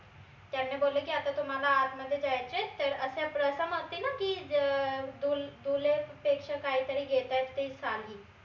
त्यांनी बोलले की आता तुम्हाला आतमध्ये जायचंय तर अस रसम असते न की ज अं पेक्षा काहीतरी घेतायत ते साली.